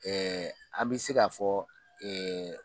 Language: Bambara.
Ɛɛ an bɛ se k'a fɔ ɛɛ